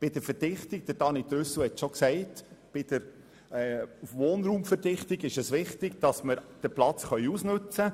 Bei der Verdichtung des Wohnraums – Daniel Trüssel hat bereits darauf hingewiesen – ist es wichtig, den Platz auszunützen.